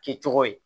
Kɛcogo ye